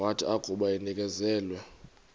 wathi akuba enikezelwe